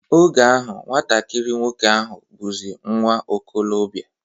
Oge ahụ, nwatakiri nwoke ahụ bụzi nwa okolobia